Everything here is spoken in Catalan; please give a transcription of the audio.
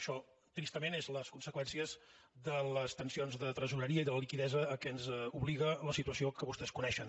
això tristament són les conseqüències de les tensions de tresoreria i de la liquiditat a la qual ens obliga la situació que vostès coneixen